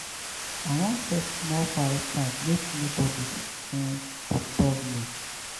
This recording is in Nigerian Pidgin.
i wan get small quiet time make nobodi um disturb me.